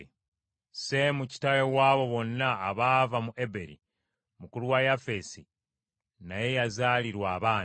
Seemu kitaawe w’abo bonna abaava mu Eberi, mukulu wa Yafeesi naye yazaalirwa abaana.